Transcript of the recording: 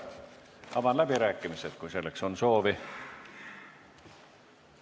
Avan läbirääkimised, kui selleks on soovi.